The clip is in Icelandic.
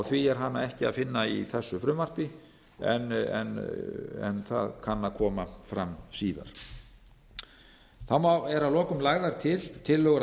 því er hana ekki að finna í þessu frumvarpi en það kann að koma fram síðar þá eru að lokum lagðar til tillögur að